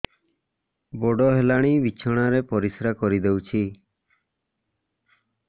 ବଡ଼ ହେଲାଣି ବିଛଣା ରେ ପରିସ୍ରା କରିଦେଉଛି